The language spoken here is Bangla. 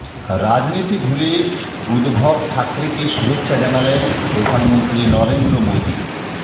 রাজনীতি ভুলে উদ্ভব ঠাকরেকে শুভেচ্ছা জানালেন প্রধানমন্ত্রী নরেন্দ্র মোদী